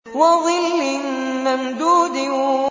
وَظِلٍّ مَّمْدُودٍ